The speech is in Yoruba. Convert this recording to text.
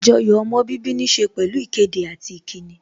Àjoyò ọmọ bíbí níse pẹ̀lú ìkéde àti ìkíni